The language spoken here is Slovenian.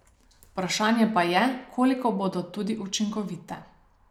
Vprašanje pa je, koliko bodo tudi učinkovite.